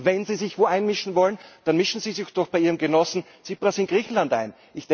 Wenn Sie sich irgendwo einmischen wollen, dann mischen Sie sich doch bei Ihrem Genossen Tsipras in Griechenland ein.